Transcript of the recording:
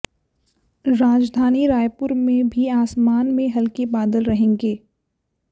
राजधानी रायपुर में भी आसमान में हल्के बादल रहेंगे